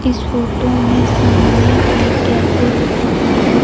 इस फोटो में सामने एक कैफ़े दिख रहा है।